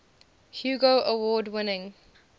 hugo award winning